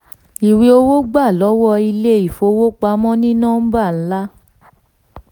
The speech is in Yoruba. ìwé owó gbà lọ́wọ́ ilé-ìfowópamọ́ ní nọ́mbà ńlá